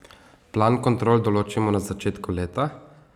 Plan kontrol določimo na začetku leta.